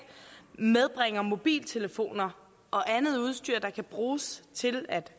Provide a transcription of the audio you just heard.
medbringer mobiltelefoner og andet udstyr der kan bruges til at